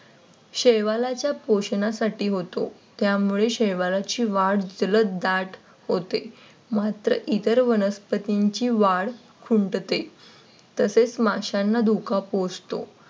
शेवालाच्या पोषणासाठी होतो. त्यामुळे शेवालाची वाढ जलद दाट होते. मात्र इतर वनस्पतींची वाढ खुंटते. तसेच माशांना धोका पोहोचतो.